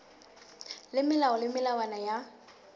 le melao le melawana ya